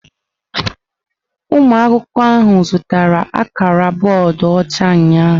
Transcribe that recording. Ụmụ akwụkwọ ahụ zụtara akara bọọdụ ọcha ụnyahụ.